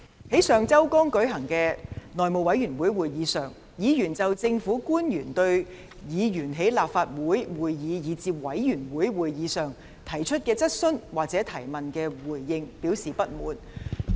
在上周剛舉行的內務委員會會議上，議員就政府官員在立法會會議以至委員會會議上對議員提出的質詢所作的回應，表示不滿。